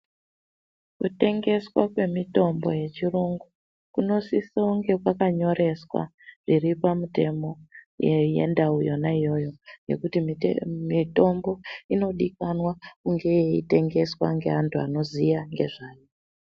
Kutengeswa kwemitombo yechiyungu kunosise kunge kwakanyoreswa zviri pamutemo wendau yona iyoyo ngekuti mitombo inodikanwa kunge yeitengeswa ngevanthu vanoziya ngezvayo.